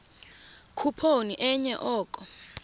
khuphoni enye oko